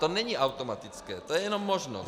To není automatické, to je jenom možnost.